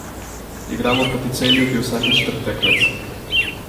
Igramo proti Celju, ki je vsakič trd tekmec.